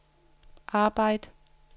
arbejd